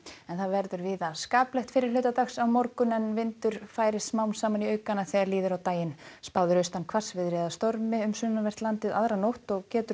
verður víða skaplegt fyrri hluta dags á morgun en vindur færist smám saman í aukana þegar líður á daginn spáð er austan hvassviðri eða stormi um sunnanvert landið aðra nótt og getur